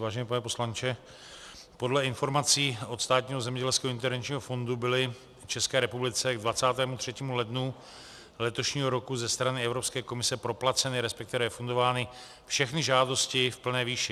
Vážený pane poslanče, podle informací od Státního zemědělského intervenčního fondu byly v České republice k 23. lednu letošního roku ze strany Evropské komise proplaceny, respektive refundovány, všechny žádosti v plné výši.